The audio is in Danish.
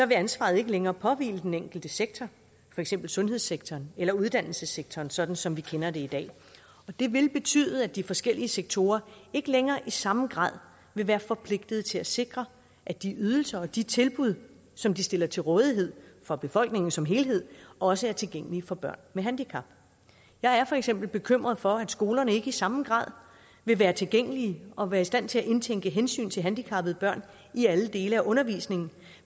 vil ansvaret ikke længere påhvile den enkelte sektor for eksempel sundhedssektoren eller uddannelsessektoren sådan som vi kender det i dag og det vil betyde at de forskellige sektorer ikke længere i samme grad vil være forpligtet til at sikre at de ydelser og de tilbud som de stiller til rådighed for befolkningen som helhed også er tilgængelige for børn med handicap jeg er for eksempel bekymret for at skolerne ikke i samme grad vil være tilgængelige og være i stand til at indtænke hensyn til handicappede børn i alle dele af undervisningen